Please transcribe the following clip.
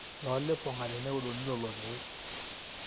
tooliponga teneudokini lelo keek